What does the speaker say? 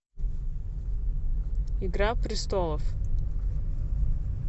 игра престолов